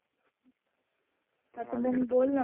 आत्मन बोल.